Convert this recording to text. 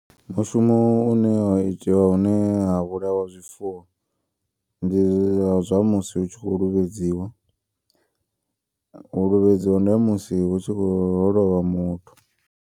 Mushumo une wa itiwa hune ha vhulawa zwifuwo. Ndi zwa musi hu tshi kho luvhedziwa u luvhedziwa ndi ha musi hu tshi kho ho lovha muthu.